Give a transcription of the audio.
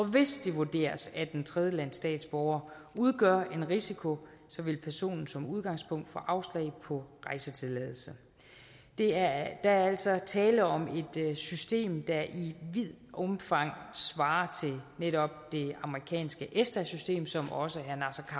hvis det vurderes at en tredjelandsstatsborger udgør en risiko vil personen som udgangspunkt få afslag på rejsetilladelse der er altså tale om et system der i vidt omfang svarer til netop det amerikanske esta system som også